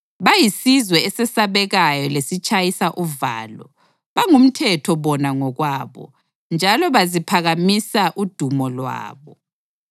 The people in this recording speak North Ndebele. Bayisizwe esesabekayo lesitshayisa uvalo; bangumthetho bona ngokwabo njalo baziphakamisa udumo lwabo.